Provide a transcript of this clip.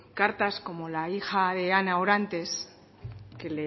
cartas como la hija de ana orantes que